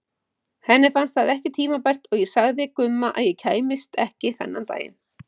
Henni fannst það ekki tímabært og ég sagði Gumma að ég kæmist ekki þennan daginn.